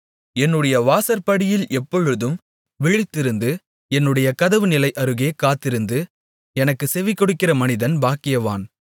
என்னுடைய வாசற்படியில் எப்பொழுதும் விழித்திருந்து என்னுடைய கதவு நிலை அருகே காத்திருந்து எனக்குச் செவிகொடுக்கிற மனிதன் பாக்கியவான்